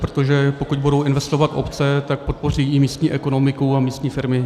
Protože pokud budou investovat obce, tak podpoří i místní ekonomiku a místní firmy.